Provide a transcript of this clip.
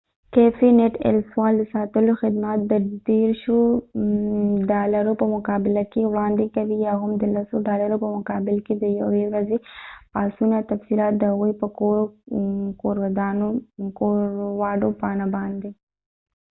کېفی نټ ایل سول د ساتلو خدمات د ديرشو30 ډالرو په مقابل کې وراندي کوي یا هم د لسو ډالرو په مقابل کې د یوې ورځی پاسونه تفصیلات د هغوي په کورکوواډو پاڼه باندي